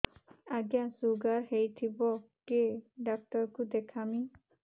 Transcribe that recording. ଆଜ୍ଞା ଶୁଗାର ହେଇଥିବ କେ ଡାକ୍ତର କୁ ଦେଖାମି